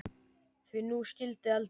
Því nú skyldi eldað.